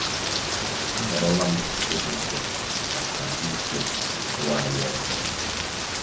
Ahọrọla m ịkwụsị maka ahụike nwa anyị ọhụrụ.